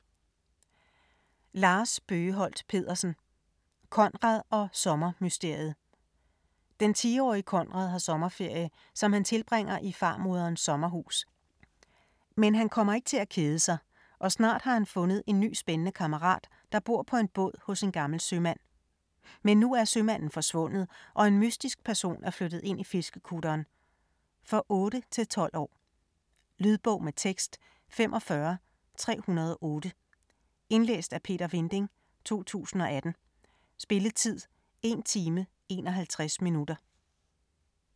Bøgeholt Pedersen, Lars: Konrad & sommermysteriet Den 10-årige Konrad har sommerferie, som han tilbringer i farmoderens sommerhus. Men han kommer ikke til at kede sig, og snart har han fundet en ny spændende kammerat, der bor på en båd hos en gammel sømand. Men nu er sømanden forsvundet, og en mystisk person er flyttet ind i fiskekutteren. For 8-12 år. Lydbog med tekst 45308 Indlæst af Peter Vinding, 2018. Spilletid: 1 time, 51 minutter.